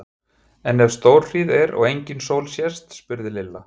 En ef stórhríð er og engin sól sést? spurði Lilla.